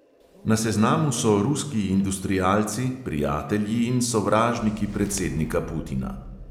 Na seznamu so ruski industrialci, prijatelji in sovražniki predsednika putina.